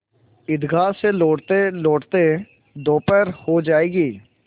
ईदगाह से लौटतेलौटते दोपहर हो जाएगी